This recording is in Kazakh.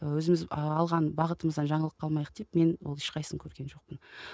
өзіміз і алған бағытымыздан жаңылып қалмайық деп мен ол ешқайсысын көрген жоқпын